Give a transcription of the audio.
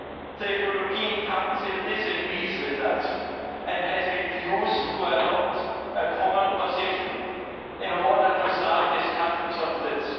The European Council disagrees with us and has refused to adopt a common position in order to start discussions on this.